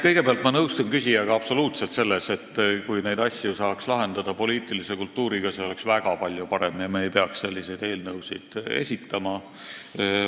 Kõigepealt, ma nõustun küsijaga absoluutselt selles, et kui neid asju saaks lahendada poliitilise kultuuriga, siis oleks väga palju parem ja me ei peaks selliseid eelnõusid esitama.